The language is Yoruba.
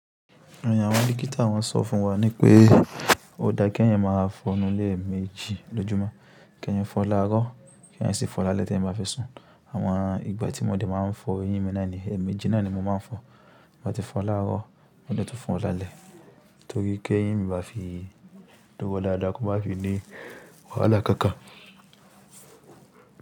Àwọn dókítà wọ́n sọ fún wa nipé ó dáa kí ẹ̀yin máa fọnu léeméjì lọ́júmọ́, kí eẹ̀yan fọ láárọ̀, kí eẹ̀yan sì fọ lálẹ́ tí eẹ̀yan bá fẹ́ sùn. Àwọn ìgbà tí mo dẹ̀ máa ń fọ eyín mi náà nìyẹn, ẹ̀ẹ̀mejì na ni mo máa ń fọ. Mo ti fọ láárọ̀ mo lè tún fọ lálẹ́ torí kí ẹ̀yin baá fi dúró dáadáa kó má fi ní wàhálà kankan.